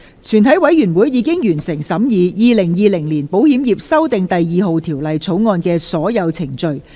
全體委員會已完成審議《2020年保險業條例草案》的所有程序。